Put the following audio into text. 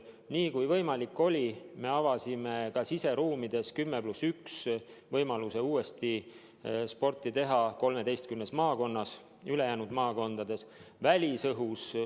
Niipea kui võimalik oli, avasime ka siseruumides 10 + 1 võimaluse uuesti sporti teha 13 maakonnas, ülejäänud maakondades välisõhus.